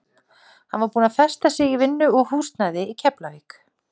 Hann er búinn að festa sig í vinnu og húsnæði í Keflavík.